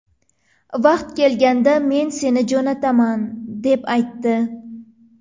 Vaqti kelganda men seni jo‘nataman deb aytdi.